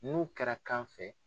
N'u kɛra kan fɛ.